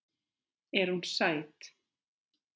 Er hún sæt?